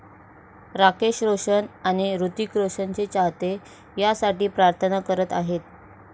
राकेश रोशन आणि हृतिक रोशनचे चाहते यासाठी प्रार्थना करत आहेत.